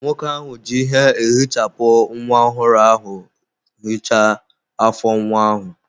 Nwoke ahụ ji ihe ehichapụ nwa ọhụrụ ahụ hichaa afọ nwa ahụ.